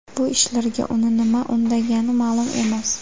Bu ishlarga uni nima undagani ma’lum emas.